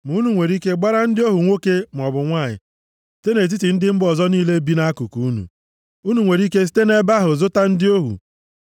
“ ‘Ma unu nwere ike gbara ndị ohu nwoke maọbụ nwanyị site nʼetiti ndị mba ọzọ niile bi nʼakụkụ unu. Unu nwere ike site nʼebe ahụ zụta ndị ohu.